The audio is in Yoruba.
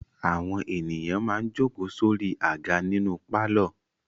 Àwọn ènìyàn máa ń jókòó sórí àga nínú pálọ̀.